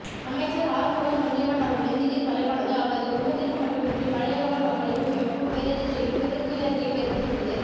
அமைச்சர் ஆறுமுகன் தொண்டமான் அவர்களின் தீடீர் மறைவானது அவரது குடும்பத்திற்கு மட்டுமின்றி மலையகவாழ் மக்களுக்கும் எமக்கும் பேரதிர்ச்சியையும் பெருந்துயரத்தினையையும் ஏற்படுத்தியுள்ளது